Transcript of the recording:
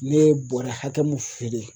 Ne ye bɔrɛ hakɛ mun feere